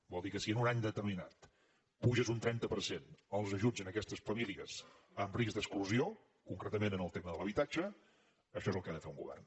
vol dir que si en un any determinat apuges un trenta per cent els ajuts a aquestes famílies amb risc d’exclusió concretament en el tema de l’habitatge això és el que ha de fer un govern